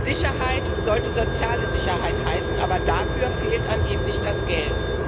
Sicherheit sollte soziale Sicherheit heißen, aber dafür fehlt angeblich das Geld.